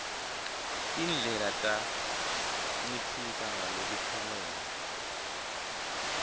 tindlela tanciphisa ngalokuphelele